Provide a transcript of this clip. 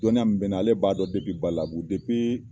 Dɔnni mun be ne na , ale b'a dɔn Badalabugu